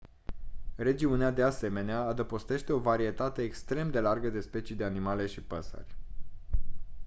regiunea de asemenea adăpostește o varietate extrem de largă de specii de animale și păsări